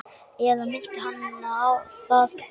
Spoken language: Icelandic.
Eða minnti hana það?